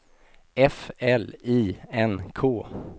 F L I N K